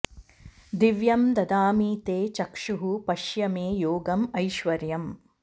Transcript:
दिव्यम् ददामि ते चक्षुः पश्य मे योगम् ऐश्वरम्